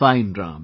Fine Ram